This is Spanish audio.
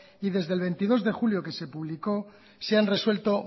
y desde el veintidós de julio que se publicó se han resuelto